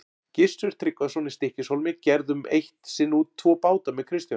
Gissur Tryggvason í Stykkishólmi gerðum eitt sinn út tvo báta með Kristjáni.